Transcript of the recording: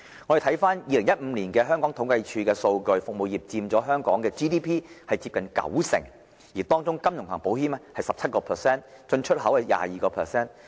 根據2015年香港政府統計處的數據，服務業佔香港 GDP 接近九成，當中金融及保險佔 17%， 進出口貿易佔 22%。